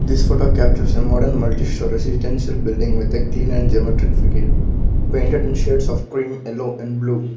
this photo captures a modern multi storey residential building with a clean and geometric facade painted in shades of cream ellow and blue.